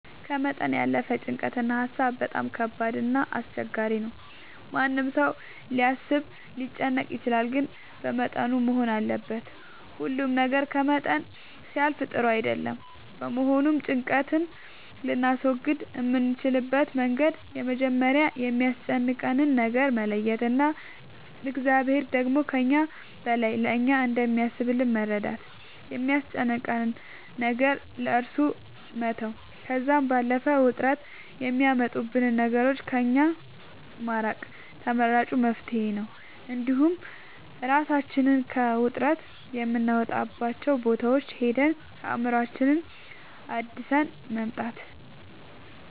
ከመጠን ያለፈ ጭንቀት እና ሀሳብ በጣም ከባድ እና አስቸጋሪ ነው ማንም ሰው ሊያስብ ሊጨነቅ ይችላል ግን በመጠኑ መሆን አለበት ሁሉ ነገር ከመጠን ሲያልፍ ጥሩ አይደለም በመሆኑም ጭንቀት ልናስወግድ የምንችልበት መንገድ መጀመሪያ የሚያስጨንቀንን ነገር መለየት እና እግዚአብሔር ደግሞ ከእኛ በላይ ለእኛ እንደሚያስብልን በመረዳት የሚያስጨንቀንን ነገር ለእሱ መተው ከዛም ባለፈ ውጥረት የሚያመጡብንን ነገሮች ከእኛ ማራቅ ተመራጭ መፍትሄ ነው እንዲሁም እራሳችንን ከውጥረት የምናወጣባቸው ቦታዎች ሄደን አእምሮአችንን አድሰን መምጣት